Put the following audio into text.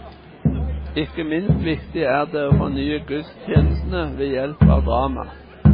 Ikke minst viktig er det å fornye gudstjenestene ved hjelp av drama.